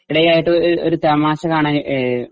ഇടെയായിട്ട് ഒ ഒരു തമാശ കാണാൻ ഏ